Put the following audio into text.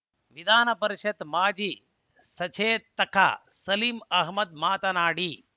ವಿಧಾನ ಪರಿಷತ್ ಮಾಜಿ ಸಚೇತಕ ಸಲೀಂ ಅಹ್ಮದ್ ಮಾತನಾಡಿ